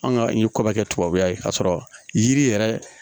An ka ɲɛko kɛ tubabukan ye k'a sɔrɔ yiri yɛrɛ